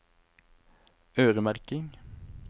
øremerking